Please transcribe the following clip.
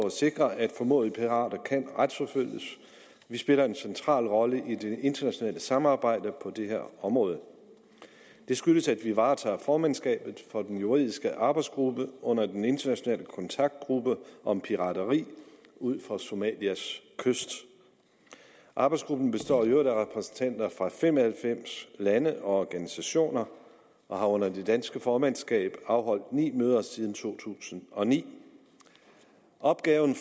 at sikre at formodede pirater kan retsforfølges vi spiller en central rolle i det internationale samarbejde på det her område det skyldes at vi varetager formandskabet for den juridiske arbejdsgruppe under den internationale kontaktgruppe om pirateri ud for somalias kyst arbejdsgruppen består i øvrigt af repræsentanter fra fem og halvfems lande og organisationer og har under det danske formandskab afholdt ni møder siden to tusind og ni opgaven